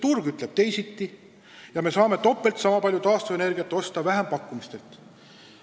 Turg ütleb teisiti ja me saame topelt nii palju taastuvenergiat osta vähempakkumistelt.